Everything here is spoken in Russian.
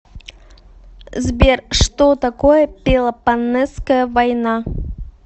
сбер что такое пелопоннесская война